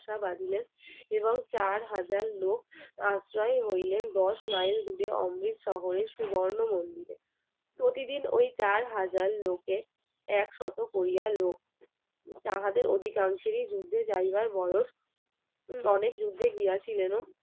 একশত করিয়া লোক তাহাদের অধিকাংশের যুদ্ধে যাইবার বয়স অনেক যুদ্ধে গিয়াছিলেন ও।